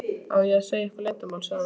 ég að segja ykkur leyndarmál? sagði hún.